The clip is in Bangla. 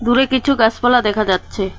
দূরে কিছু গাসপালা দেখা যাচ্ছে।